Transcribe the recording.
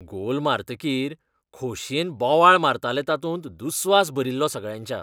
गोल मारतकीर खोशयेन बोवाळ मारताले तातूंत दुस्वास भरिल्लो सगळ्यांच्या.